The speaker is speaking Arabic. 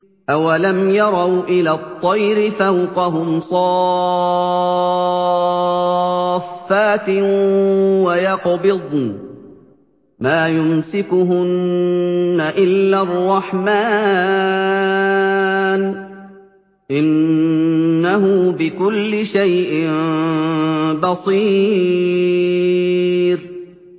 أَوَلَمْ يَرَوْا إِلَى الطَّيْرِ فَوْقَهُمْ صَافَّاتٍ وَيَقْبِضْنَ ۚ مَا يُمْسِكُهُنَّ إِلَّا الرَّحْمَٰنُ ۚ إِنَّهُ بِكُلِّ شَيْءٍ بَصِيرٌ